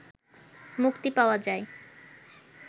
মুক্তি পাওয়া যায়